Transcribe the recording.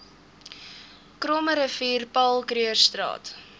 krommerivier paul krugerstraat